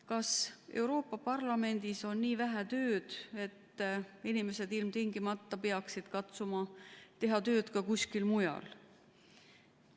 Kas Euroopa Parlamendis on nii vähe tööd, et inimesed ilmtingimata peaksid katsuma teha tööd ka kuskil mujal?